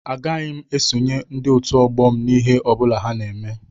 Agaghị m esonyere Otu ọgbọ m n'ihe ọ bụla ha na-eme